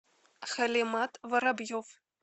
халимат воробьев